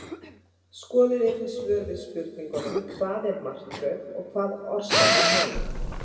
Skoðið einnig svör við spurningunum Hvað er martröð og hvað orsakar hana?